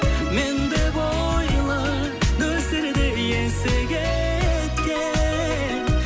мен деп ойла нөсерді есі кеткен